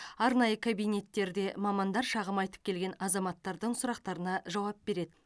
арнайы кабинеттерде мамандар шағым айтып келген азаматтардың сұрақтарына жауап береді